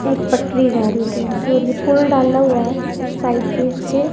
एक पटरी जा रही है ट्रेन की और यह पूल डाला हुआ है साइड पे इसके।